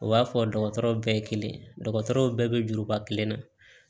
U b'a fɔ dɔgɔtɔrɔw bɛɛ ye kelen dɔgɔtɔrɔw bɛɛ bɛ juruba kelen na